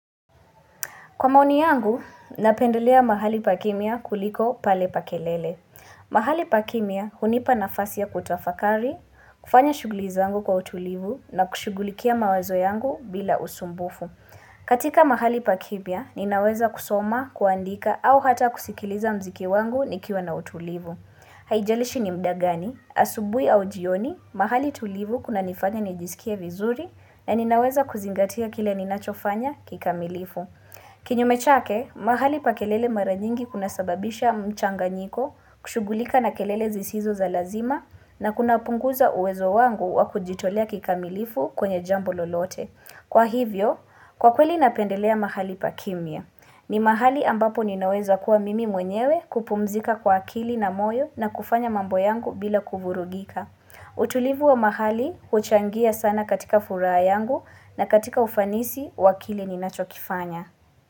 Kwa maoni yangu, napendolea mahali pakimia kuliko pale pa kelele. Mahali pa kimya hunipa nafasi ya kutafakari, kufanya shugulizangu kwa utulivu na kushugulikia mawazo yangu bila usumbufu. Katika mahali pa kimya, ninaweza kusoma, kuandika au hata kusikiliza mziki wangu nikiwa na utulivu. Haijalishi ni mda gani, asubui au jioni, mahali tulivu kuna nifanya nijisikia vizuri na ninaweza kuzingatia kile ninachofanya kikamilifu. Kinyume chake, mahali pa kelele mara nyingi kunasababisha mchanganyiko, kushugulika na kelele zisizo za lazima na kuna upunguza uwezo wangu wa kujitolea kikamilifu kwenye jambo lolote. Kwa hivyo, kwa kweli napendelea mahali pa kimya. Ni mahali ambapo ninaweza kuwa mimi mwenyewe kupumzika kwa akili na moyo na kufanya mambo yangu bila kuvurugika. Utulivu wa mahali, uchangia sana katika furaha yangu na katika ufanisi, wakili ni nachokifanya.